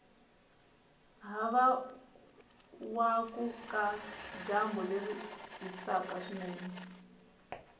havawakuka dyambu leri hisaku swinene